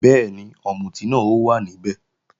Bẹ́ẹ̀ni, ọ̀mùtí náà ó wà níbẹ̀